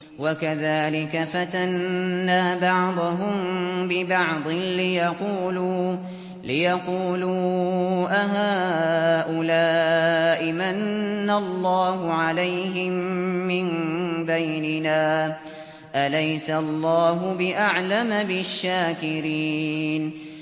وَكَذَٰلِكَ فَتَنَّا بَعْضَهُم بِبَعْضٍ لِّيَقُولُوا أَهَٰؤُلَاءِ مَنَّ اللَّهُ عَلَيْهِم مِّن بَيْنِنَا ۗ أَلَيْسَ اللَّهُ بِأَعْلَمَ بِالشَّاكِرِينَ